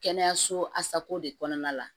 Kɛnɛyaso asako de kɔnɔna la